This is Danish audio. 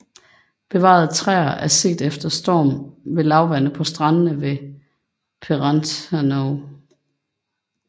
Bevarede træer er set efter storm ved lavvande på strandene ved Perranuthnoe